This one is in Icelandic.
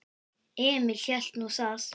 Emil hélt nú það.